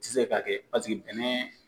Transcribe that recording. I tɛ se k'a kɛ paseke bɛnɛ.